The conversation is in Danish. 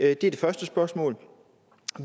er det første spørgsmål